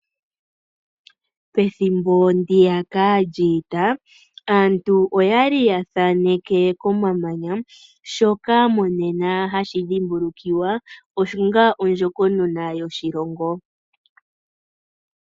Pethimbo ndiyaka lyiita, aantu oya li ya thaaneke komamanya, shoka monena hashi dhimbulukiwa onga ondjokonona yoshilongo.